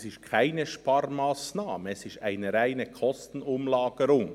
Es ist keine Sparmassnahme, sondern eine reine Kostenumlagerung.